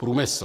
Průmysl.